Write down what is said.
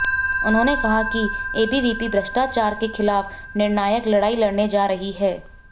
उन्होंने कहा कि एबीवीपी भ्रष्टाचार के खिलाफ निर्णायक लड़ाई लड़ने जा रही है